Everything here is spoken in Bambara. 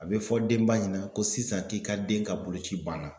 A bɛ fɔ denba ɲɛna ko sisan k'i ka den ka boloci banna.